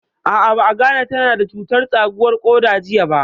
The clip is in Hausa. A'a, ba a gane ta na da cutar tsakuwar ƙoda jiya ba